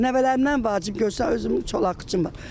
Nəvələrimdən vacib göysə özümü çolaq üçün var.